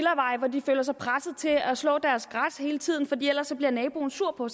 hvor de føler sig presset til at slå deres græs hele tiden for ellers bliver naboen sur på